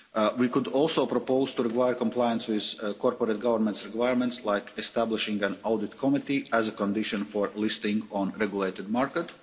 We could also propose to require compliance with corporate governance requirements like establishing an audit committee as a condition for listing on a regulated market.